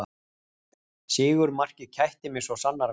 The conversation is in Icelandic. Sigurmarkið kætti mig svo sannarlega